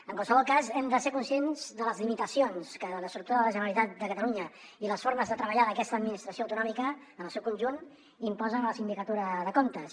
en qualsevol cas hem de ser conscients de les limitacions que l’estructura de la generalitat de catalunya i les formes de treballar d’aquesta administració autonòmica en el seu conjunt imposen a la sindicatura de comptes